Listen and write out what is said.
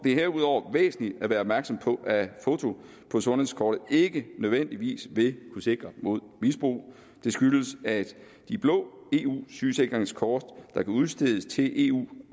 er herudover væsentligt at være opmærksom på at et foto på sundhedskortet ikke nødvendigvis vil kunne sikre mod misbrug det skyldes at de blå eu sygesikringskort der kan udstedes til eu